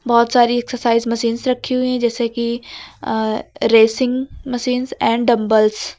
बहुत सारी exercise machines रखी हुई हैं जैसे कि uh racing machines and dumbbells --